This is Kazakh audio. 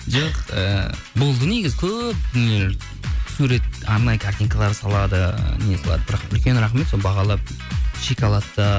жоқ ыыы болды негізі көп дүниелер сурет арнайы картинкалар салады не салады бірақ үлкен рахмет соны бағалап